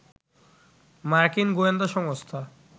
মার্কিন গোয়েন্দা সংস্থা